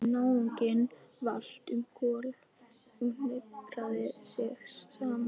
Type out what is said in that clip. Náunginn valt um koll og hnipraði sig saman.